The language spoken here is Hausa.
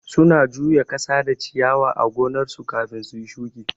Su na juya kasa da ciyawa a gonnar su kafin suyi shuki